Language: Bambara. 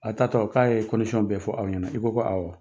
A taa tɔ k'a ye bɛɛ fɔ aw ɲɛnɛ . I ko ko awɔ.